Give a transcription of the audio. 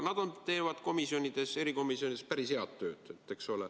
Nad teevad komisjonides, erikomisjonides päris head tööd, eks ole.